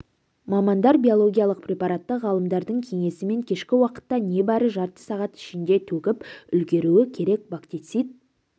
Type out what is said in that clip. мамандар биологиялық препаратты ғалымдардың кеңесімен кешкі уақытта не бары жарты сағат ішінде төгіп үлгеруі керек бактицит